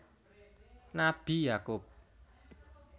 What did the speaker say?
Nabi Yakub